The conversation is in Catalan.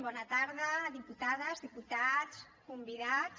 bona tarda diputades diputats convidats